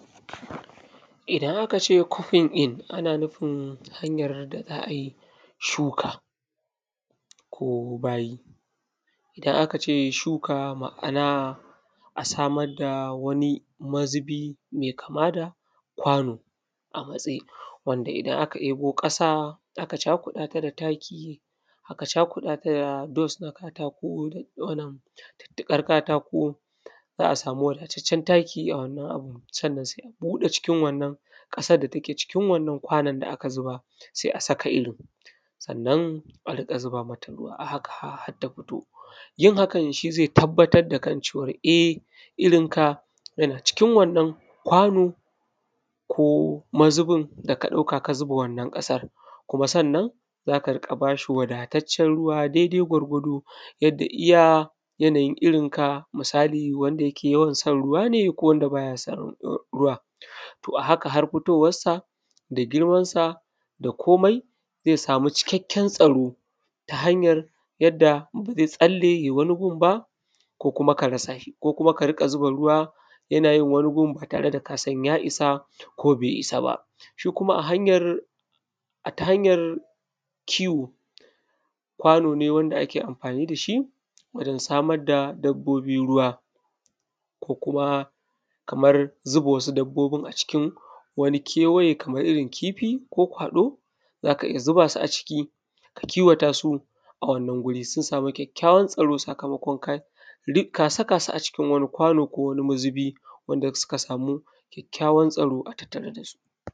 idan aka ʧe ʧupping in ana nufin hanjar da za ai ʃu:ka ko ba:ji idan aka ʧe ʃu:ka ma’ana a samar da wani maz ubi mai kama da kwa:no a matse wanda idan aka ɗe:bo ƙa:sa aka ʧa:ku:ɗa ta da taki aka ʧa:ku:ɗa ta da dust na ka:ta:ko na diddi:gar ka:ta:ko za a samu wadataʧʧe taki a wannan abun sannan sai a bu:ɗe: ʧikin wannan ƙa:sar da take ʧikin wannan kwanon da aka zu:ba sai a saka irin sannan a ringa zu:ba mata ru:wa a haka har ta fi:to jin haka ʃi zai tabbatar da kan ʧewa e irin ka jana ʧikin wannan kwano ko mazu:bin da ka ɗauka ka zuba wannan ƙasar kuma sannan za ka ruƙa ba ʃi wadataʧʧen ru:wa dai dai gwargwado jadda ija janajin irin ka misali wanda ja ke jawan son ru:wa ne ko wadda ba ja son ru:wa to a haka har fito:warsa da girmansa da ko:mai zai sa:mu ʧikakken tsa:ro ta hanjar jadda ba zai tsalle jai wani gun ba ko kuma ka rasa ʃi ko kuma ka riƙa zu:ba ru:wa ja na jin wani gun ba ta:re da ka san ja isa ko be isa ba ʃi kuma a hanjar a ta hanjar ki:wo kwa:no ne wanda ake amfani da ʃi waʤan sa:mar ma dabbo:bi ru:wa ko kuma kamar zuba zuba wa su dabbo:bin a ʧikin wani ke:waje kaman irin ki:fi kokwa:ɗo: za ka ija zu:ba su a ʧiki ka ki:wata su a wannan guri su samu kjakkjawan tsa:ro sakamakon ka saka su a wani kwa:no ko wani mazubi wanda suka samu kjakkjawan tsaro a tattare da su